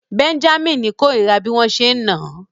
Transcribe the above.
Bẹ́ńjámínì kórìíra bí wọ́n ṣe ń nà án